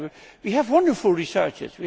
We have wonderful researchers.